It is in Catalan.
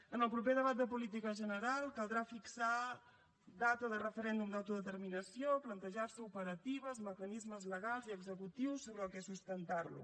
en el proper debat de política general caldrà fixar data de referèndum d’autodeterminació plantejar se operatives mecanismes legals i executius sobre què sustentar lo